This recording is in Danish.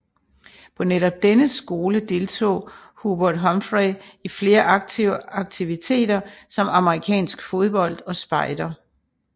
På netop denne skole deltog Hubert Humphrey i flere aktive aktiviteter som amerikansk fodbold og spejder